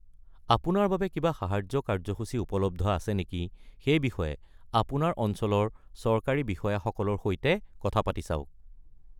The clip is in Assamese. আপোনাৰ বাবে কিবা সাহায্য কাৰ্য্যসূচী উপলব্ধ আছে নেকি সেই বিষয়ে আপোনাৰ অঞ্চলৰ চৰকাৰী বিষয়াসকলৰ সৈতে কথা পাতি চাওক।